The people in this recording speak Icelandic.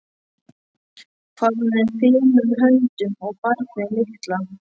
Hvað hún fer fimum höndum um barnið litla.